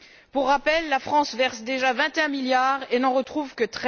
Pour rappel, la France verse déjà 21 milliards et n'en retrouve que